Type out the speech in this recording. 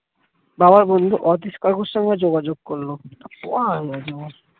বাবার বন্ধু অতীশ কাকুর সঙ্গে যোগাযোগ করল